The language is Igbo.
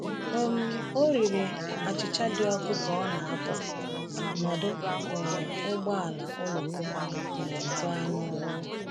um Ọ riri achịcha dị ọkụ ka ọ na-apụ n’ọdụ um ụgbọ oloko um gaa n’ọrụ.